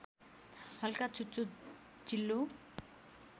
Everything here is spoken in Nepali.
हल्का चुच्चो चिल्लो